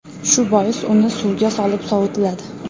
Shu bois uni suvga solib sovitiladi.